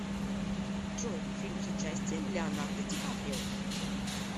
джой фильм с участием леонардо дикаприо